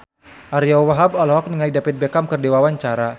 Ariyo Wahab olohok ningali David Beckham keur diwawancara